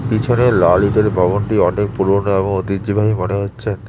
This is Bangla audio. পিছনে লাল ইটের ভবনটি অনেক পুরোনো এবং ঐতিহ্যবাহী মনে হচ্ছে।